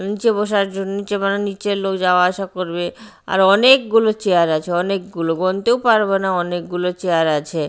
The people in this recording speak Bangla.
নীচে বসার জন্য নীচে মানে নীচে লোক যাওয়া আসা করবে আর অনেকগুলো চেয়ার আছে অনেক গুলো গোনতেও পারবনা অনেক গুলো চেয়ার আছে।